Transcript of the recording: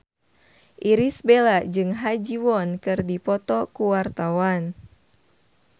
Irish Bella jeung Ha Ji Won keur dipoto ku wartawan